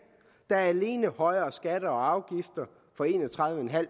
der alene indeholder højere skatter og afgifter for en og tredive